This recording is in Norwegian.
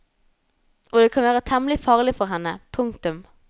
Og det kan være temmelig farlig for henne. punktum